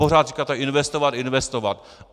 Pořád říkáte investovat, investovat.